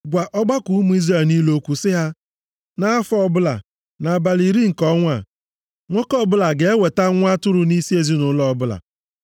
Gwa ọgbakọ ụmụ Izrel niile okwu sị ha, Nʼafọ ọbụla, nʼabalị iri nke ọnwa a, nwoke ọbụla ga-eweta nwa atụrụ nʼisi ezinaụlọ ọbụla.